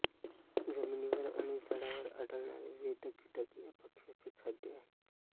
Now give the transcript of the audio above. जमिनीवर आणि झाडांवर आढळणारे विविध कीटक या पक्ष्याचे खाद्य आहे